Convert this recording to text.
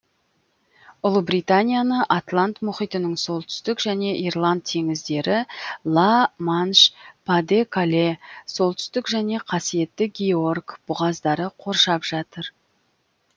ұлыбританияны атлант мұхитының солтүстік және ирланд теңіздері ла манш па де кале солтүстік және қасиетті георг бұғаздары қоршап жатыр